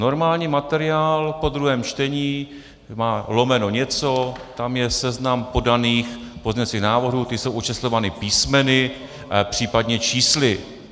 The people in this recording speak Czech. Normální materiál po druhém čtení má lomeno něco, tam je seznam podaných pozměňovacích návrhů, ty jsou očíslovány písmeny, případně čísly.